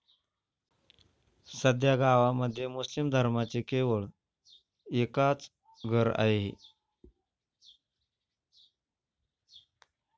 सध्या गावामध्ये मुस्लिम धर्माचे केवळ एकाच घर आहे.